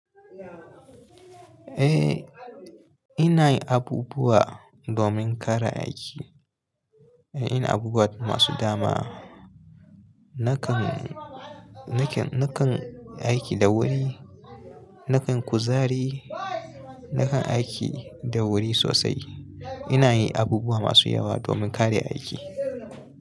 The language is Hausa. Eh, ina yin abubuwa domin kare aiki. Ina yin abubuwa masu dama. Nakan, nakan, nakan aiki da wuri, nakan kuzari, nakan aiki da wuri sosai. Ina yin abubuwa masu yawa domin kare aiki.